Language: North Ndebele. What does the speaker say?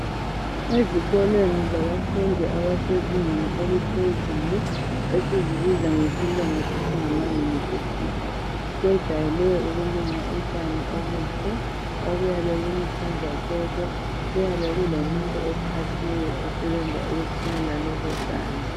Ezikolweni zabafundi abasezingeni eliphezulu esizibiza ngesilungu sithi ngama "University " kwejayele ukulunywa utshani obuhle obuyabe buluhlaza tshoko ,kuyabe kulomuntu oqhatshiweyo ukuthelela lobu tshani.